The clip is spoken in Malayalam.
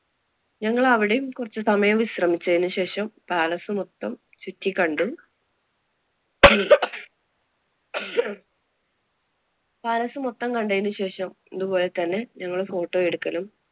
ഞങ്ങളവിടേം കുറച്ചുസമയം വിശ്രമിച്ചതിനു ശേഷം palace മൊത്തം ചുറ്റിക്കണ്ടു. palace മൊത്തം കണ്ടതിനു ശേഷം ഇതുപോലതന്നെ അതുപോലെ തന്നെ ഞങ്ങള് photo എടുക്കലും